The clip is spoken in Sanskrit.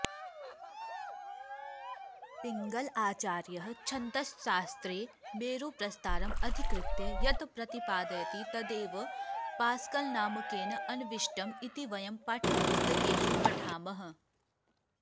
पिङ्गलाचार्यः छन्दश्शास्त्रे मेरुप्रस्तारम् अधिकृत्य यत् प्रतिपादयति तदेव पास्कल्नामकेन अन्विष्टम् इति वयं पाठ्यपुस्तकेषु पठामः